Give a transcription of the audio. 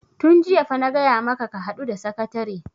tun jiya fa na gaya maka ka haɗu da sakatare!